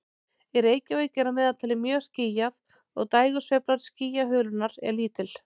Í Reykjavík er að meðaltali mjög skýjað og dægursveifla skýjahulunnar er lítil.